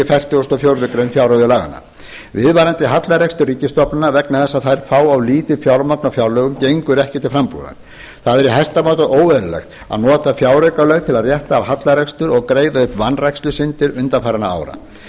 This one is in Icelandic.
fertugustu og fjórðu grein fjárreiðulaganna viðvarandi hallarekstur ríkisstofnana vegna þess að þær fá of lítið fjármagn á fjárlögum gengur ekki til frambúðar það er í hæsta máta óeðlilegt að nota fjáraukalög til að rétta af hallarekstur og greiða upp vanrækslusyndir undanfarinna ára